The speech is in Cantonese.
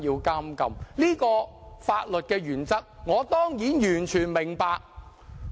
這個法律的原則，我當然完全明白。